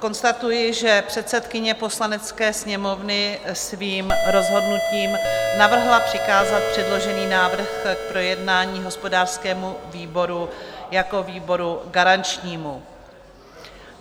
Konstatuji, že předsedkyně Poslanecké sněmovny svým rozhodnutím navrhla přikázat předložený návrh k projednání hospodářskému výboru jako výboru garančnímu.